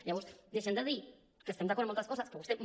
llavors deixem de dir que estem d’acord en moltes coses que ho estem